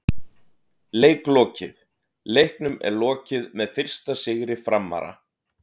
Leik lokið: Leiknum er lokið með fyrsta sigri Framara!!